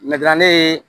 ne ye